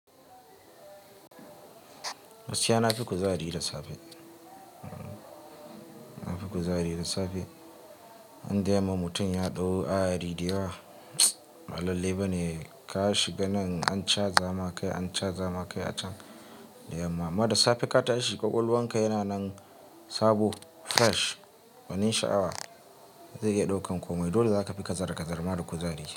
Gaskiya nafi kuzari da safe. Na fi kuzari da safe. Indai yamma mutum ya dau ayari da yawa, ba lallai bane ka shiga nan ancaza ma kai, an cazama kai a can da yamma. Mada safe ka tashi ƙwaƙwalwanka yana nan sabo, fresh. Wani sha'awa zai iya ɗaukan komai. Dole za ka fi kazarar kazarar ma da kuzari.